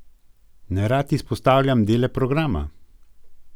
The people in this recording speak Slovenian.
Nerad izpostavljam dele programa.